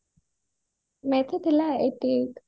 math ରେ ଥିଲା eighty eight